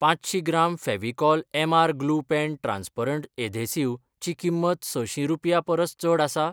पांचशीं gram Fevicol MR glue pen transparent adhesive ची किंमत सशीं रुपयां परस चड आसा?